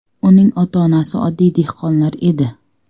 Uning ota-onasi oddiy dehqonlar edi.